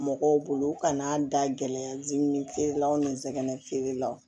Mɔgɔw bolo kana a da gɛlɛya dumuni feere la o ni nsɛgɛnfeerelaw